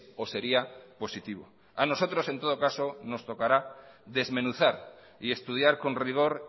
o sería positivo a nosotros en todo caso nos tocará desmenuzar y estudiar con rigor